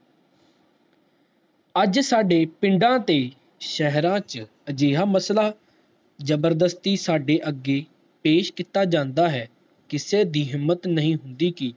ਅੱਜ ਸਾਡੇ ਪਿੰਡ ਤੇ ਸ਼ਹਿਰਾਂ ਚ ਅਜਿਹਾ ਮਸਲਾ ਜਬਰਦਸਤੀ ਸਾਡੇ ਅੱਗੇ ਪੇਸ਼ ਕੀਤਾ ਜਾਂਦਾ ਹੈ ਕਿਸੇ ਦੀ ਹਿੰਮਤ ਨਹੀਂ ਹੁੰਦੀ ਕਿ